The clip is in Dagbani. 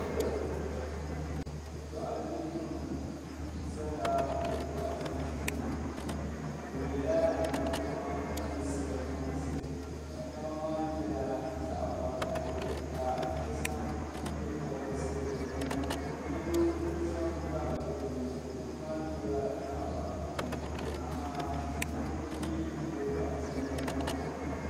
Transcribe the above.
Doɣitenima zala bɛ doɣita duu ni bɛ yela nɛma m-mulisi bɛ mansi nɛma maa nyɛla zaɣ'vakahili ka bɛ zaŋ nyepɔbirisi n-niŋ yino zami tabi dukpuni dukpuni maa nyɛla zaɣ'vakahili amaa ŋun ye doɣita nɛma maa.